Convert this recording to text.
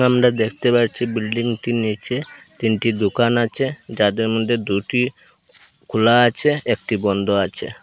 আমরা দেখতে পারছি বিল্ডিংটির নীচে তিনটি দুকান আচে যাদের মদ্যে দুটি খোলা আছে একটি বন্দ আছে।